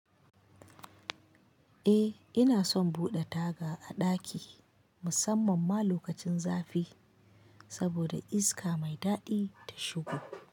Eh ina son buɗe taga a ɗaki musamman ma lokacin zafi. Saboda iska mai daɗi ta shigo.